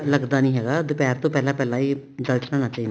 ਲੱਗਦਾ ਨੀ ਹੈਗਾ ਦੁਪਹਿਰ ਤੋਂ ਪਹਿਲਾਂ ਪਹਿਲਾਂ ਜਲ ਚੜਾਉਣਾ ਚਾਹੀਦਾ